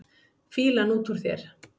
Fýlan út úr þér!